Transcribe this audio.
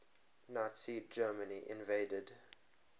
nazi germany invaded